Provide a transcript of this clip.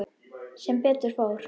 Sem betur fór.